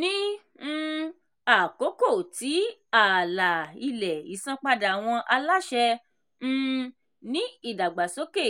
ní um àkókò tí àlà-ilẹ̀ ìsanpadà àwọn aláṣẹ um ni ìdàgbàsókè